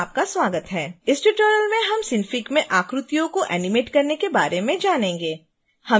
इस ट्यूटोरियल में हम synfig में आकृतियों को एनीमेट करने के बारे में जानेंगे